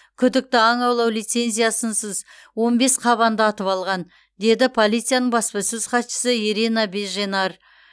күдікті аң аулау лицензиясынсыз он бес қабанды атып алған деді полицияның баспасөз хатшысы ирина беженарь